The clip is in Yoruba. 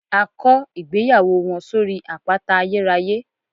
A kó ìgbéyàwó wọn sórí àpáta ayérayé